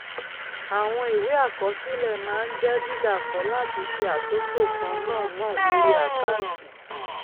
àwọn ìwé àkọsílẹ máa ń jẹ dídàkọ láti ṣe àtúntò kan náà náà lórí àkáǹtì